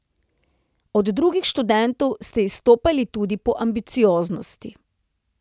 Od drugih študentov ste izstopali tudi po ambicioznosti.